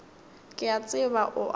ke a tseba o a